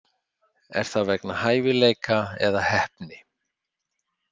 Er það vegna hæfileika eða heppni?